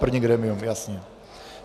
První grémium, jasně.